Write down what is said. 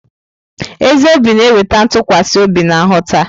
Ezi obi na-eweta ntụkwasị obi na nghọta.